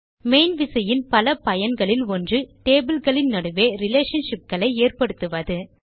main விசையின் பல பயன்களில் ஒன்று டேபிள் களின் நடுவே ரிலேஷன்ஷிப்ஸ் ஏற்படுத்துவது